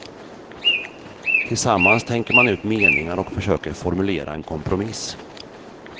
Tillsammans tänker man ut meningar och försöker formulera en kompromiss.